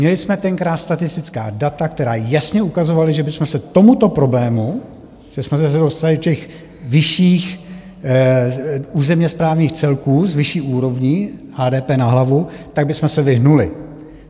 Měli jsme tenkrát statistická data, která jasně ukazovala, že bychom se tomuto problému, že jsme se dostali do těch vyšších územně správních celků, s vyšší úrovní HDP na hlavu, tak bychom se vyhnuli.